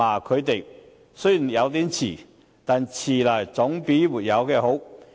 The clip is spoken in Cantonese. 他的行動雖然有點遲，但遲來總比不做好。